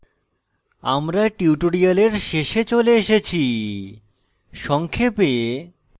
আমরা tutorial শেষে চলে এসেছি সংক্ষেপে